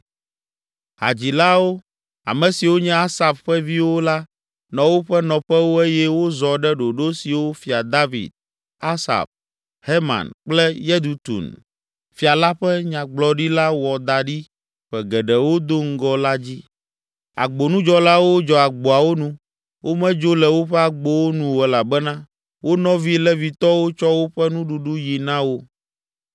Hadzilawo, ame siwo nye Asaf ƒe viwo la nɔ woƒe nɔƒewo eye wozɔ ɖe ɖoɖo siwo Fia David, Asaf, Heman kple Yedutun, fia la ƒe nyagblɔɖila wɔ da ɖi ƒe geɖewo do ŋgɔ la dzi. Agbonudzɔlawo dzɔ agboawo nu, womedzo le woƒe agbowo nu o elabena wo nɔvi Levitɔwo tsɔ woƒe nuɖuɖu yi na wo.